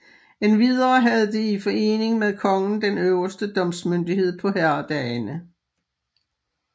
Endvidere havde det i forening med kongen den øverste domsmyndighed på herredagene